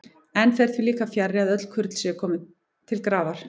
Enn fer því líka fjarri, að öll kurl séu til grafar komin.